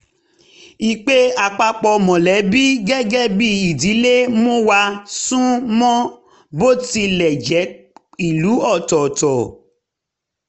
ìpè àpapọ̀ mọ̀lẹ́bí gẹ́gẹ́ bí ìdílé mú wa sún mọ́ bó tilẹ̀ jẹ́ ìlú ọ̀tọ̀ọ̀tọ̀